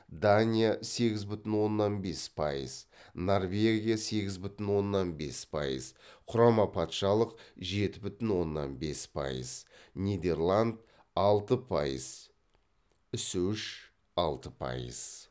дания сегіз бүтін оннан бес пайыз норвегия сегіз бүтін оннан бес пайыз құрама патшалық жеті бүтін оннан бес пайыз нидерланд алты пайыз ісүіш алты пайыз